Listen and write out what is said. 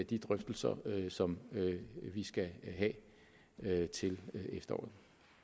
de drøftelser som vi skal have til efteråret